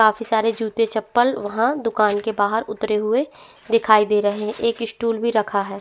काफी सारे जूते चप्पल वहाँ दुकान के बाहर उतरे हुए दिखाई दे रहे है एक स्टूल भी रखा है।